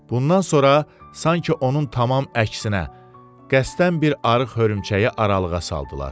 Bundan sonra sanki onun tamam əksinə, qəsdən bir arıq hörümçəyi aralığa saldılar.